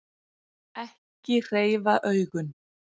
Ekki hreyfa augun.